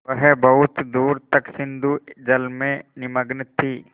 वह बहुत दूर तक सिंधुजल में निमग्न थी